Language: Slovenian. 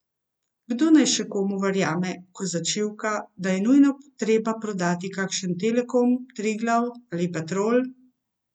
Kdo naj še komu verjame, ko začivka, da je nujno treba prodati kakšen Telekom, Triglav ali Petrol?